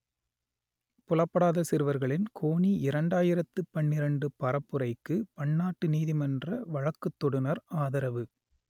புலப்படாத சிறுவர்களின் கோனி இரண்டாயிரத்து பன்னிரண்டு பரப்புரைக்கு பன்னாட்டு நீதிமன்ற வழக்குத்தொடுநர் ஆதரவு